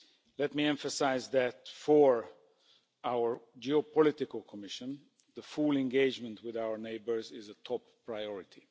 Let me emphasise that for our geopolitical Commission, the full engagement with our neighbours is a top priority.